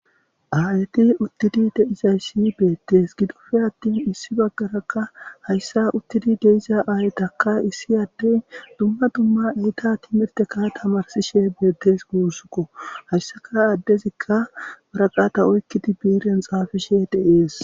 aayeti uttidi deizayssi beettes gidufe attin issi baggarakka hayssa uttidi deiza aayetaka issi adden dumma dumma eyta timirteka tamarsishe beettes guussukko hayssaka addezikka baraqata oykkidi biiren xaafishe de7ees